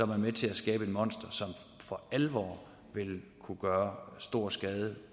man med til at skabe et monster som for alvor vil kunne gøre stor skade